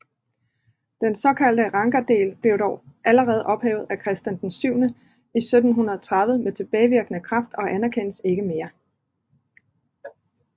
Denne såkaldte rangadel blev dog allerede ophævet af Christian VI 1730 med tilbagevirkende kraft og anerkendes ikke mere